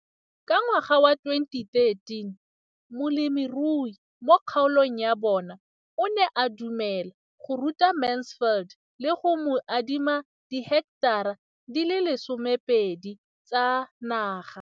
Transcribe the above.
Ka ngwaga wa 2013, molemirui mo kgaolong ya bona o ne a dumela go ruta Mansfield le go mo adima di heketara di le 12 tsa naga.